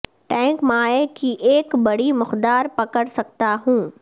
tank مائع کی ایک بڑی مقدار پکڑ سکتا ہوں